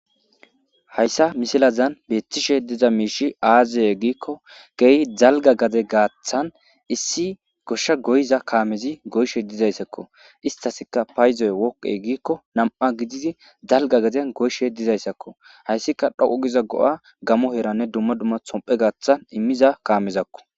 Hayssa misilezan beeththishe diza miishshi aazee giikko keehi dalgga gade gaaththan issi goshsha goyiza kaamezi goyishe dizayssakoo; isthathikka paydoy woqqee giikko nam7a gididi dalgga gaden goyishe dizayssakoo; hayssika dhoqu gida go7aa gamo heeranne dumma dumma toophphe gaththa immiza kaamezakkoo.